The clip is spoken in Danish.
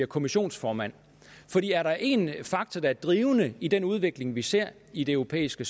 kommissionsformand er der en faktor der er drivende i den udvikling vi ser i det europæiske